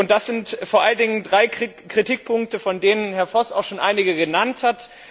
Es sind vor allen Dingen drei Kritikpunkte, von denen Herr Voss auch schon einige genannt hat.